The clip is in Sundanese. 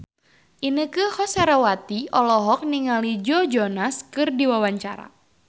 Inneke Koesherawati olohok ningali Joe Jonas keur diwawancara